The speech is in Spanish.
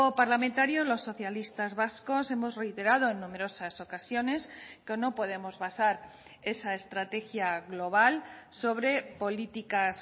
parlamentario los socialistas vascos hemos reiterado en numerosas ocasiones que no podemos basar esa estrategia global sobre políticas